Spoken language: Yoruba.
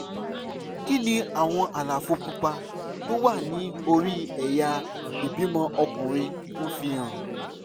kí ni àwọn àlàfo pupa tó wà ní orí ẹ̀yà ìbímọ ọkùnrin ń fi hàn?